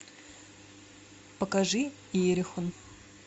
покажи иерихон